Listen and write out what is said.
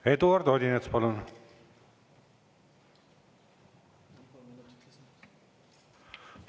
Eduard Odinets, palun!